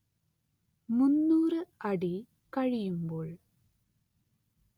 മുന്നൂറ്‌ അടി കഴിയുമ്പോൾ